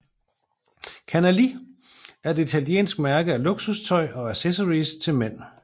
Canali er et italiensk mærke af luksustøj og accessories til mænd